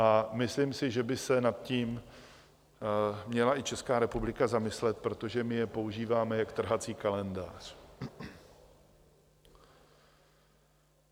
A myslím si, že by se nad tím měla i Česká republika zamyslet, protože my je používáme jak trhací kalendář.